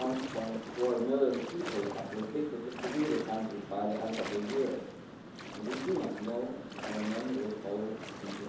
1.4 million people are predicted to flee the country by the end of the year and we do not know how many will follow in